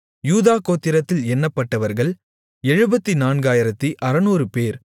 யூதா கோத்திரத்தில் எண்ணப்பட்டவர்கள் 74600 பேர்